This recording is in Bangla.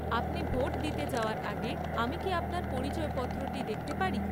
আপনি ভোট দিতে যাওয়ার আগে আমি কি আপনার পরিচয়পত্রটি দেখতে পারি?